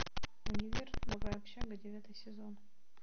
универ новая общага девятый сезон